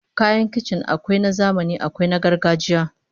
Kayan kicin akwai na zamani akwai na gargajiya